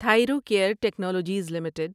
Thyrocare technologies limited